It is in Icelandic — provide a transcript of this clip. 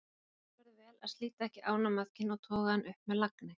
passa verður vel að slíta ekki ánamaðkinn og toga hann upp með lagni